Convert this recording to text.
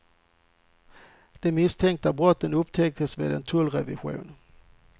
De misstänkta brotten upptäcktes vid en tullrevision.